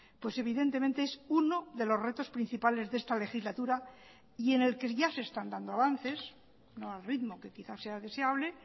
pues evidentemente es uno de los retos principales de esta legislatura y en el que ya se están dando avances no al ritmo que quizá sea deseable